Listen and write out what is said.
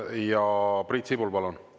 Ja Priit Sibul, palun!